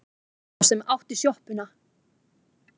Sá sem átti sjoppuna.